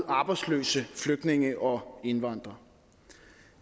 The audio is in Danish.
arbejdsløse flygtninge og indvandrere